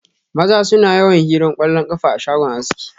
Maza suna yawan hiran kwallon kafa a shagon aski.